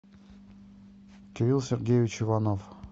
кирилл сергеевич иванов